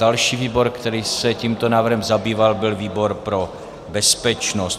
Další výbor, který se tímto návrhem zabýval, byl výbor pro bezpečnost.